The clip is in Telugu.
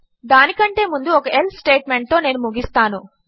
దాని కంటే ముందు ఒక ఎల్సే స్టేట్మెంట్తో నేను ముగిస్తాను